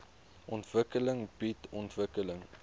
ontwikkeling bied ontwikkeling